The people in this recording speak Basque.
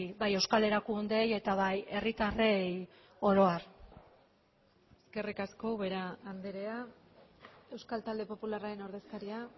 bai euskal erakundeei eta bai herritarrei oro har eskerrik asko ubera andrea euskal talde popularraren ordezkaria